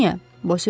Elə niyə?